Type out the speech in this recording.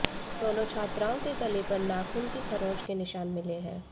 दोनों छात्राओं के गले पर नाखून की खरोंच के निशान मिले हैं